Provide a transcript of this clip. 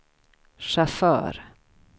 chaufför